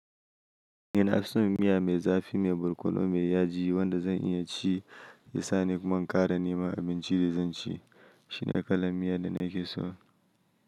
Ina son miya mai zafi, mai borkono mai yaji wanda zan iya ci, ya sa ni kuma ƙara nema abincin da zan ci. Shi ne kalan miya da nake so.